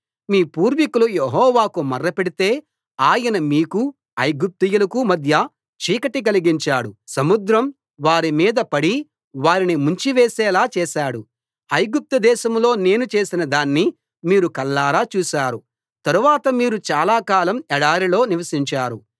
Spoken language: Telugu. మీ పూర్వీకులు యెహోవాకు మొర్రపెడితే ఆయన మీకూ ఐగుప్తీయులకూ మధ్య చీకటి కలిగించాడు సముద్రం వారి మీద పడి వారిని ముంచి వేసేలా చేశాడు ఐగుప్తు దేశంలో నేను చేసిన దాన్ని మీరు కళ్ళారా చూశారు తరువాత మీరు చాలా కాలం ఎడారిలో నివసించారు